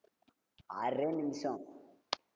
ஆறே நிமிஷம்